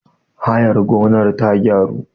hayar gonar ta gyaru?